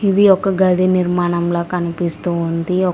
ఇది ఒక గది నిర్మాణంలా కనిపిస్తూ ఉంది.